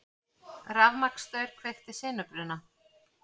Rafmagnsstaur kveikti sinubruna